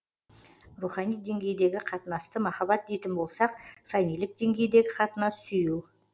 рухани деңгейдегі қатынасты махаббат дейтін болсақ фәнилік деңгейдегі қатынас сүю